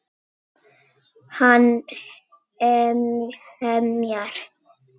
Hann emjar.